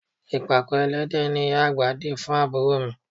Ìpàkọ́ ẹlẹ́dẹ̀ ni ìyá àgbà di fún àbúrò mi